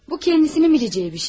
Bu özünün biləcəyi bir şey.